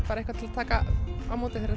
bara eitthvað til að taka á móti þegar